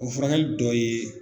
O furakɛli tɔ ye.